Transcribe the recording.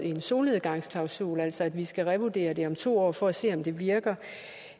en solnedgangsklausul altså at vi skal revurdere det om to år for at se om det virker